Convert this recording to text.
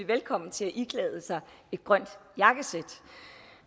velkommen til at iklæde sig et grønt jakkesæt